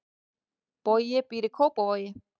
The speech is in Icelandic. Bogi býr í Kópavogi.